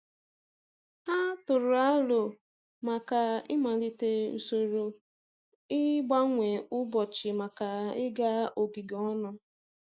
Ha tụrụ aro maka ị malite usoro ịgbanwe ụbọchị maka ịga ogige ọnụ.